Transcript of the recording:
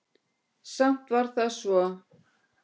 Samt var það svo.